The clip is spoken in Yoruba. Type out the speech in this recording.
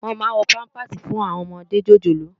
Wòn má n wò pàmpásí fún áwòn òmòdé jójólóò